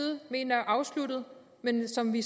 mener er afsluttet men som vi